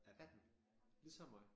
18 ligesom mig